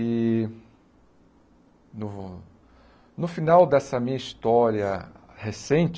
E no no final dessa minha história recente,